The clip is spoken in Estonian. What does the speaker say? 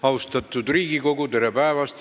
Austatud Riigikogu, tere päevast!